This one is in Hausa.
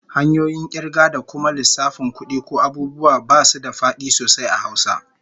Hanyoyin kirga da kuma lissafin kudi ko abubuwa basu da fadi sosai a Hausa